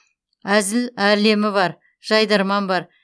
әзіл әлемі бар жайдарман бар